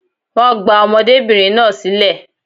Wọ́n gba ọmọdébìnrin náà sílẹ̀